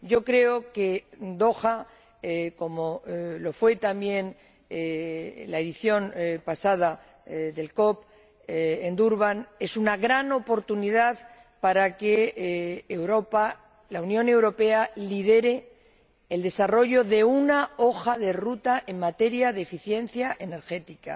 Yo creo que Doha, como lo fue también la edición pasada de la COP, en Durban, representa una gran oportunidad para que Europa la Unión Europea lidere el desarrollo de una hoja de ruta en materia de eficiencia energética,